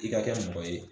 I ka kɛ mɔgɔ ye